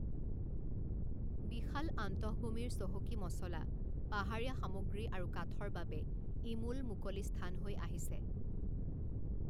বিশাল আন্তঃভূমিৰ চহকী মছলা, পাহাৰীয়া সামগ্ৰী আৰু কাঠৰ বাবে ই মূল মুকলি স্থান হৈ আহিছে।